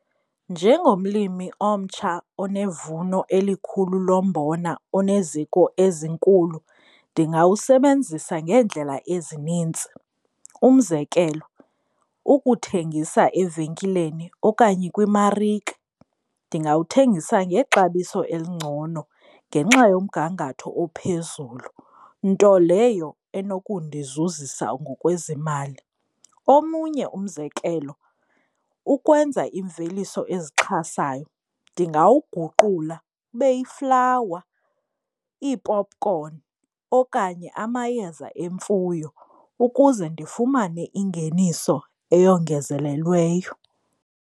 Njengomlimi omtsha onevuno elikhulu lo mbona oneziko ezinkulu ndingawusebenzisa ngeendlela ezinintsi. Umzekelo, ukuthengisa evenkileni okanye kwimarika, ndingawuthengisa ngexabiso elingcono ngenxa yomgangatho ophezulu, nto leyo enokundizuzisa ngokwezemali. Omunye umzekelo, ukwenza imveliso ezixhasayo ndingawuguqula ube yiflawa, iipopkhoni okanye amayeza emfuyo ukuze ndifumane ingeniso eyongezelelweyo.